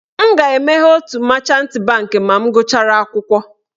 M ga-emeghe otu machant bankị ma m gụchara akwụkwọ.